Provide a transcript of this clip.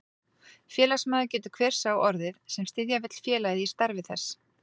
Félagsmaður getur hver sá orðið, sem styðja vill félagið í starfi þess.